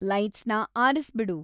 ಲೈಟ್ಸ್‌ನ ಆರ್ಸ್ಬಿಡು